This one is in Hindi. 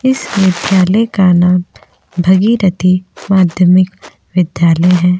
इस विद्यालय का नाम भगीरथी माध्यमिक विद्यालय है।